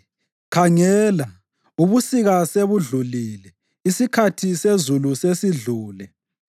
Khangela! Ubusika sebudlulile; isikhathi sezulu sesidlule.